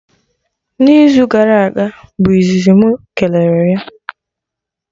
Na izu gara aga bụ izizi mụ kelere ya